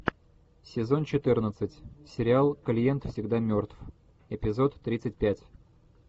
сезон четырнадцать сериал клиент всегда мертв эпизод тридцать пять